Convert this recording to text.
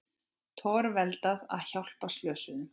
Torveldað að hjálpa slösuðum